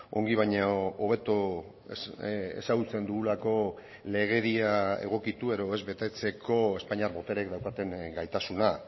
ongi baino hobeto ezagutzen dugulako legedia egokitu edo ez betetzeko espainiar botereek daukaten gaitasuna